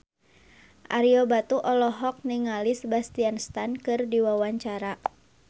Ario Batu olohok ningali Sebastian Stan keur diwawancara